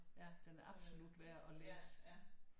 Ja den er absolut værd at læse